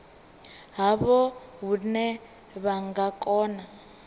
havho hune vha nga kona